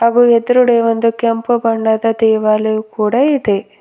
ಹಾಗು ಎದ್ರುಗಡೆ ಒಂದು ಕೆಂಪು ಬಣ್ಣದ ದೇವಾಲಯವು ಕೂಡ ಇದೆ.